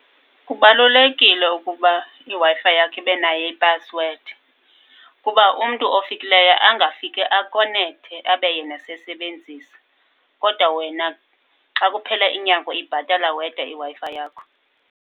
Kubalulekile ukuba iWi-Fi yakho ibe nayo iphasiwedi. Kuba umntu ofikileyo angafiki akonekthe abe yena sesebenzisa, kodwa wena xa kuphela inyanga uyibhatala wedwa iWi-Fi yakho.